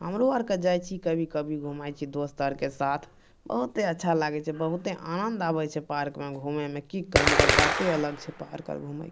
हमरो आर के जाय छी कभी कभी घुमय छी दोस्त आर के साथ बहूते अच्छा लगे छै बहुते आनंद आबे छै पार्क में घूमे में की कही ओकर बाते अलग छै पार्क मे घूमे के --